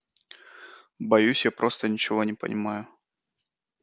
боюсь что я просто ничего не понимаю